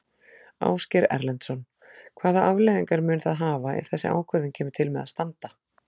Ásgeir Erlendsson: Hvaða afleiðingar mun það hafa ef þessi ákvörðun kemur til með að standa?